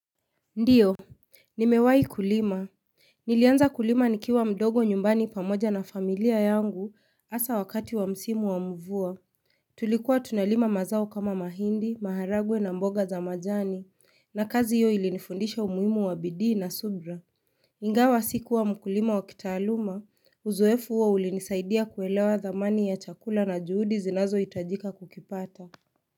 Ndio, nimewai kulima. Nilianza kulima nikiwa mdogo nyumbani pamoja na familia yangu hasa wakati wa msimu wamuvua. Tulikuwa tunalima mazao kama mahindi, maharagwe na mboga za majani, na kazi hiyo ilinifundisha umuhimu wa bidii na subra. Ingawa sikuwa mkulima wa kitaaluma, uzoefu uo ulinisaidia kuelewa dhamani ya chakula na juhudi zinazo itajika kukipata.